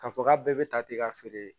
K'a fɔ k'a bɛɛ bɛ ta ten ka feere